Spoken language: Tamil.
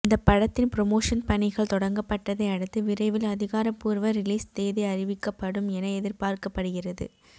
இந்தப் படத்தின் புரமோஷன் பணிகள் தொடங்கப்பட்டதை அடுத்து விரைவில் அதிகாரபூர்வ ரிலீஸ் தேதி அறிவிக்கப்படும் என எதிர்பார்க்கப்படுகிறது